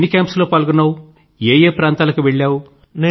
ఎన్ని కేంప్స్ లో పాల్గొన్నావు ఏ ఏ ప్రాంతాలకు వెళ్ళావు